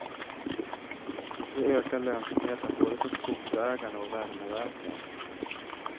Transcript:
Det ökar lönsamheten både för skogsägarna och värmeverken.